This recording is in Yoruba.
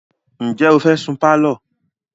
Ǹjẹ́ o fẹ́ sun pálọ̀?